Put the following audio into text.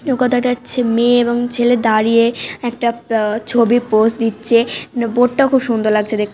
নৌকা দেখা যাচ্ছে মেয়ে এবং ছেলে দাঁড়িয়ে একটা আ ছবি পোস দিচ্ছে বোট টা খুব সুন্দর লাগছে দেখ--